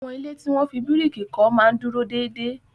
Àwọn ilé tí wọ́n fi bíríìkì kọ́ máa ń dúró déédéé.